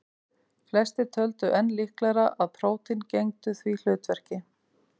Flestir töldu enn líklegra að prótín gegndu því hlutverki.